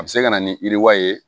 A bɛ se ka na ni wale ye